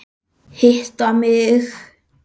Hitta mig?